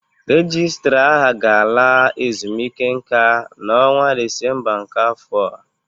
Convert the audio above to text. Rejistra aha ga-ala ezumike nká n'ọnwa Disemba nke afọ a.